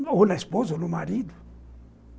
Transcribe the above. Ou na esposa, ou no marido.